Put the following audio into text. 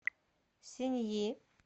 синъи